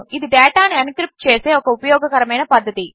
ఇదిడేటానుఎన్క్రిప్ట్చేసేఒకఉపయోగకరమైనపద్ధతి